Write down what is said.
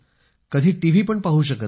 कधी टीव्ही पण पाहू शकत नाही